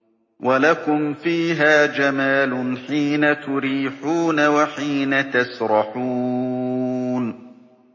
وَلَكُمْ فِيهَا جَمَالٌ حِينَ تُرِيحُونَ وَحِينَ تَسْرَحُونَ